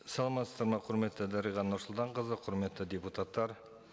саламатсыздар ма құрметті дариға нұрсұлтанқызы құрметті депутаттар